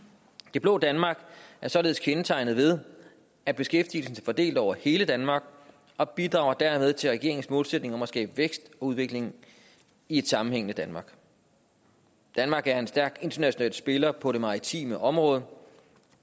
det blå danmark er således kendetegnet ved at beskæftigelsen er fordelt over hele danmark og bidrager dermed til regeringens målsætning om at skabe vækst og udvikling i et sammenhængende danmark danmark er en stærk international spiller på det maritime område